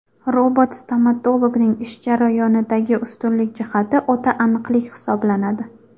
Robot-stomatologning ish jarayonidagi ustunlik jihati o‘ta aniqlik hisoblanadi.